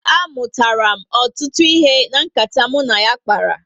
A mụtara m ọtụtụ ihe na nkata m na ya kpara